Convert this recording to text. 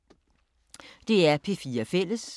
DR P4 Fælles